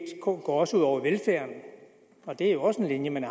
går også ud over velfærden det er jo den linje man